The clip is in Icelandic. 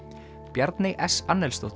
Bjarney s